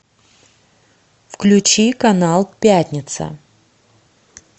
включи канал пятница